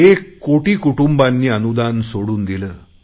एक कोटी कुटुंबांनी अनुदान सोडून दिले